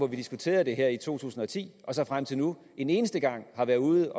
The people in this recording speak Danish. vi diskuterede det her i to tusind og ti og så frem til nu en eneste gang har været ude